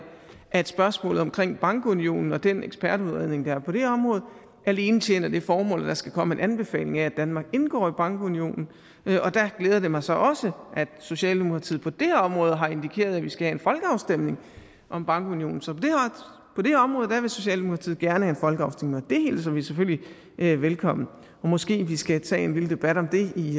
at spørgsmålet om bankunionen og den ekspertudredning der er på det område alene tjener det formål at der skal komme en anbefaling af at danmark indgår i bankunionen og der glæder det mig så at socialdemokratiet på det område har indikeret at vi skal have en folkeafstemning om bankunionen så på det område vil socialdemokratiet gerne have en folkeafstemning og det hilser vi selvfølgelig velkommen og måske vi skal tage en lille debat om det i